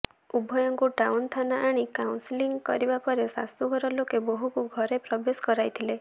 ଉଭୟଙ୍କୁ ଟାଉନ ଥାନା ଆଣି କାଉନସେଲିଂ କରିବା ପରେ ଶାଶୁ ଘର ଲୋକେ ବୋହୁକୁ ଘରେ ପ୍ରବେଶ କରାଇଥିଲେ